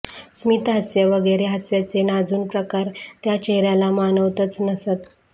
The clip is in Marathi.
स्मितहास्य वगैरे हास्याचे नाजून प्रकार त्या चेहऱ्याला मानवतच नसत